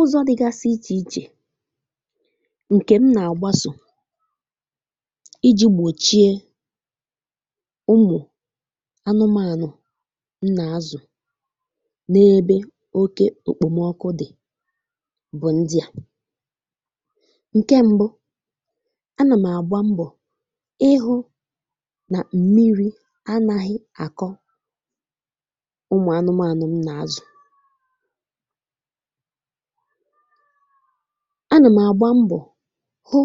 Ụzọ dịgasị iche iche ǹkè m nà-àgbasò iji gbòchie umù anụmanụ m nà-azụ n’ebe oke okpòmọkụ dị bụ ndịà: ǹkè mbụ, a nà m àgba mbọ ịhụ nà mmiri anaghị àkọ umù anụmanụ m nà-azụ; a nà m àgba mbọ hụ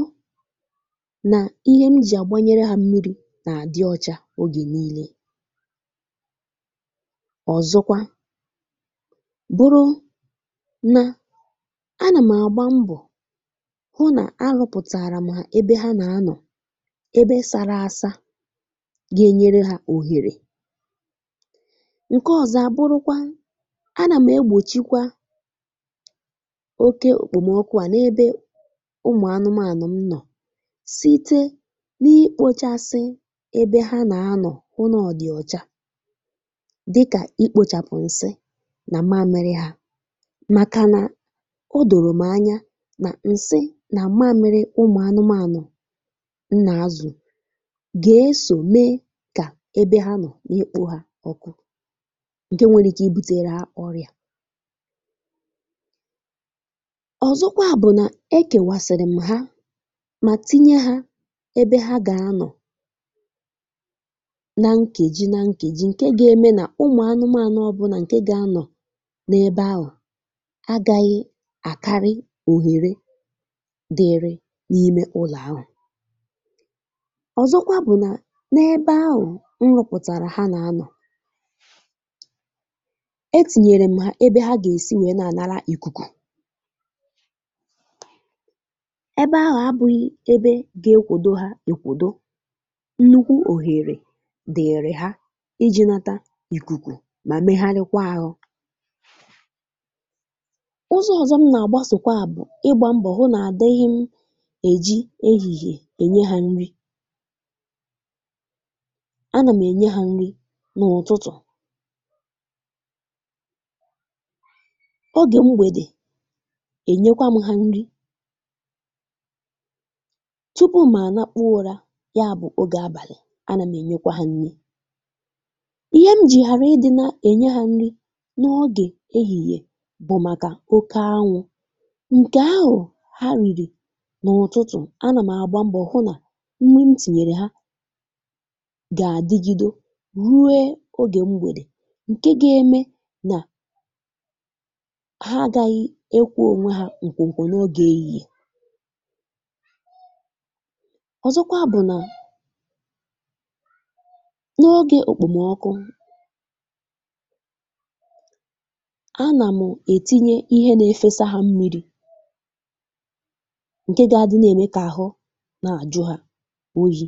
nà ihe m jì àgbanyere ha mmiri nà-àdị ọcha ogè niile. Ọzọkwa bụrụ nà, a nà m àgba mbọ hụ nà arụpụtàrà m hà ebe ha nà-anọ, ebe sara asà ga-enyere hà òhèrè. Ǹkè ọzọ a bụrụkwa, a nà m egbòchikwa oke okpòmọkụ à n’ebe ụmù anụmanụ m nọ site n’ikpochasị ebe ha nà-anọ hụ n’ọdị ọcha dịkà ikpochàpụ ǹsị nà màmịrị ha màkà nà odòrò m anya nà ǹsị nà màmịrị ụmùanụmanụ m nà-azụ gà-esò mee kà ebe ha nọ n’ikpo ha ọkụ, ǹkè nwere ike ibutèrè hà ọrịa. Ọzọkwa bụ nà e kèwàsịrị m ha mà tinye hà ebe ha gà-anọ nà nkeji nà nkeji ǹkè ga-eme nà ụmù anụmanụ ọbụna ǹkè gà-anọ n’ebe ahụ agaghị àkarị òhèrè dịrị n’ime ụlọ ahụ. Ọzọkwa bụ nà n’ebe ahụ nrụpụtàrà ha nà-anọ, etìnyere m ha ebe ha gà-èsi nwèe na-ànara ìkùkù, ebe ahụ abụghị ebe ga-ekwodo ha ekwodo, nnukwu òhèrè dịrị ha iji nata ìkùkù mà meghalịkwa ahụ. Ụzọ ọzọ m nà-àgbasò kwa bụ ịgbà mbọ hụ nà àdịghị m ejì ehihie enye ha nri; a nà m enye ha nri n’ụtụtụ, ọge m̀gbède ènyekwa m ha nri tupu mà ànakpụọ ụrà yabụ ogè abàlị, a nà m ènyekwa ha nri. Ihe m jì ghàra ịdị na-enye hà nri n’ogè ehìhiè bụ màkà oke anwụ ǹkè ahụ hà rìrì n’ụtụtụ, a nà m àgba mbọ hụ nà mmiri m tìnyèrè ha gà- àdịgịdọ ruo ogè m̀gbèdè ǹkè ga-ème nà ha agaghị ekwọ ha ǹkwọkwọ n’ọge èhìhie. Ọzọkwa bụ nà n’ọge okpòmọkụ, a nà m ètinye ihe nà efesa hà mmiri ǹkè ga-àdị nà-ème kà àhụ nà àjụ hà oyi.